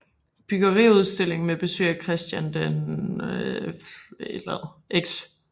Bryggeriudstilling med besøg af Christian X